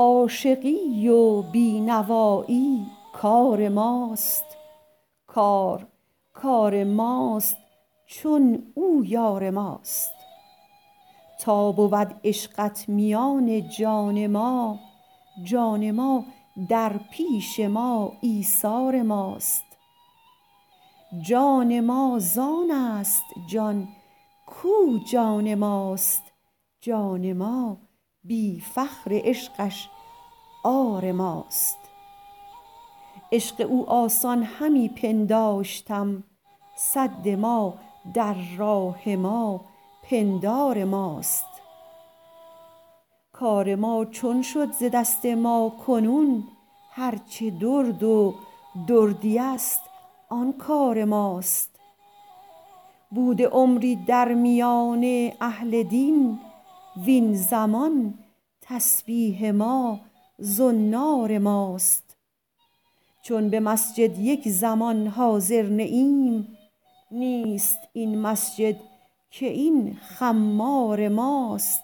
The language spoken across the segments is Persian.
عاشقی و بی نوایی کار ماست کار کار ماست چون او یار ماست تا بود عشقت میان جان ما جان ما در پیش ما ایثار ماست جان ما زان است جان کو جان ماست جان ما بی فخر عشقش عار ماست عشق او آسان همی پنداشتم سد ما در راه ما پندار ماست کار ما چون شد ز دست ما کنون هرچه درد و دردی است آن کار ماست بوده عمری در میان اهل دین وین زمان تسبیح ما زنار ماست چون به مسجد یک زمان حاضر نه ایم نیست این مسجد که این خمار ماست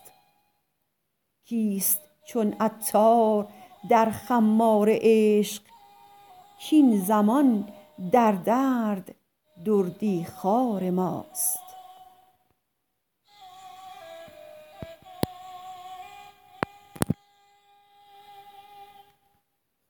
کیست چون عطار در خمار عشق کین زمان در درد دردی خوار ماست